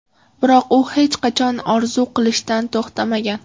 Biroq u hech qachon orzu qilishdan to‘xtamagan.